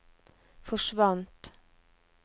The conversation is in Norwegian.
forsvant